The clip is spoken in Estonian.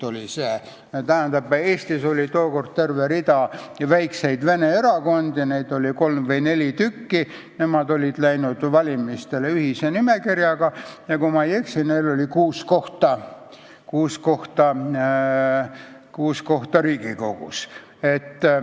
Eestis oli tookord terve rida väikseid vene erakondi, neid oli kolm või neli, nad olid läinud valimistele ühise nimekirjaga ja kui ma ei eksi, siis neil oli kuus kohta Riigikogus.